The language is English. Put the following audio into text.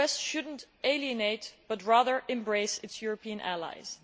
The US should not alienate, but rather embrace, its European allies.